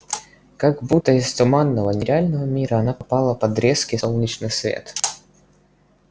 как будто из туманного нереального мира она попала под резкий солнечный свет